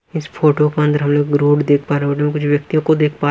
इस फोटो को अंदर हम लोग रोड देख पा रहे हैं रोड में कुछ व्यक्तियों को देख पा--